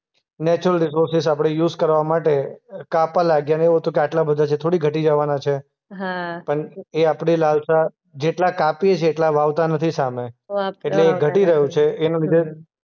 Natural resources આપણે use કરવા માટે અ કાપવા લાગ્યા ને ને એવું હતું કે આટલા બધા છે થોડી ઘટી જવાના છે. હા. પણ એ આપણી લાલશા જેટલા કાપ્યે છે એટલા વાવતા નથી સામે. એટલે એ ઘટી રહ્યું છે. એના લીધે